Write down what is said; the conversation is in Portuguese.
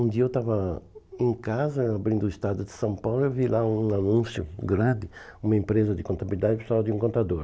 Um dia eu estava em casa abrindo o Estado de São Paulo e eu vi lá um anúncio grande, uma empresa de contabilidade precisando de um contador.